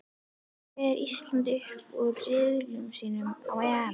Fer Ísland upp úr riðli sínum á EM?